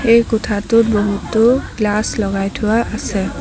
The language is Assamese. এই কোঠাটোত বহুতো গ্লাচ লগাই থোৱা আছে।